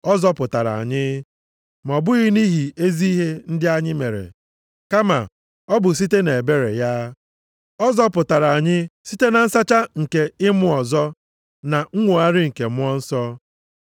ọ zọpụtara anyị, ma ọ bụghị nʼihi ezi ihe ndị anyị mere, kama ọ bụ site nʼebere ya. Ọ zọpụtara anyị site na nsacha nke ịmụ ọzọ na nnwogharị nke Mmụọ Nsọ,